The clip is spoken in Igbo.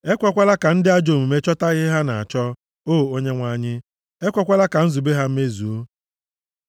Ekwekwala ka ndị ajọ omume chọta ihe ha na-achọ, o Onyenwe anyị, ekwekwala ka nzube ha mezuo. Sela